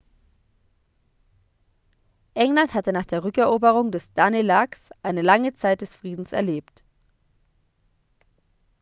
england hatte nach der rückeroberung des danelags eine lange zeit des friedens erlebt